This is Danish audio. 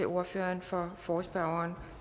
ordføreren for forespørgerne